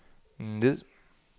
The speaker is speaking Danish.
ned